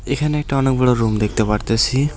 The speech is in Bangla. এখানে একটা অনেক বড়ো রুম দেখতে পারতাসি।